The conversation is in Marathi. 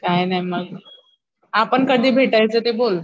काय नाय मग आपण कधी भेटायचं ते बोल.